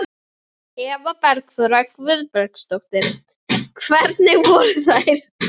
Eva Bergþóra Guðbergsdóttir: Hvernig voru þær?